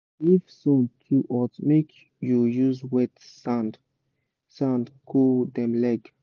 if sun too hot make u use wet sand sand cool dem leg